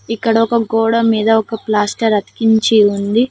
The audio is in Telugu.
ఇక్కడ ఒక గోడ మీద ఒక ప్లాస్టర్ అతికించి ఉంది.